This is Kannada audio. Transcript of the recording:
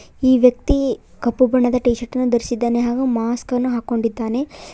ಈ ವ್ಯಕ್ತಿ ಕಪ್ಪು ಬಣ್ಣದ ಟೀ ಶರ್ಟ್ ನ ಧರಿಸಿದ್ದಾನೆ ಹಾಗೂ ಮಾಸ್ಕ ನ್ನು ಹಾಕೊಂಡಿದ್ದಾನೆ.